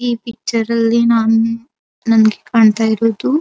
ಈ ಪಿಕ್ಚರ ಲ್ಲಿ ನಾನು ನಂಗೆ ಕಾಣತ್ತಾ ಇರೋದು --